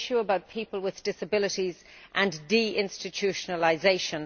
It is an issue about people with disabilities and de institutionalisation.